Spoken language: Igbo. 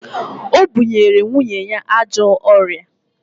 O bunyere nwunye ya ajọ ọrịa